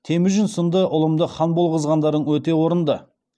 темұжін сынды ұлымдыхан болғызған дарың өте орынды